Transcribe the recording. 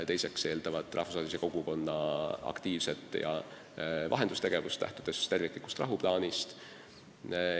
Teiseks eeldab see rahvusvahelise kogukonna aktiivset vahendustegevust, lähtudes terviklikust rahuplaanist.